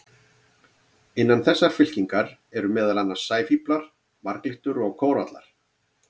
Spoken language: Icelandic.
Innan þessarar fylkingar eru meðal annars sæfíflar, marglyttur og kórallar.